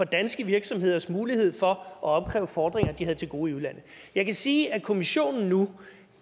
danske virksomheders mulighed for at opkræve fordringer de havde til gode i udlandet jeg kan sige at kommissionen nu